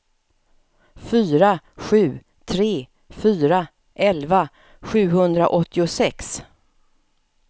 fyra sju tre fyra elva sjuhundraåttiosex